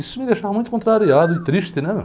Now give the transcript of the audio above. Isso me deixava muito contrariado e triste, né?